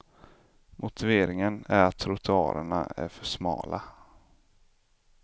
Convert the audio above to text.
Motiveringen är att trottoarerna är för smala.